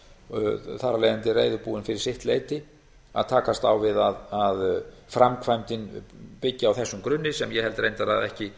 þar af leiðandi reiðubúin fyrir sitt leyti að takast á við að framkvæmdin byggi á þessum grunni sem ég held reyndar að ekki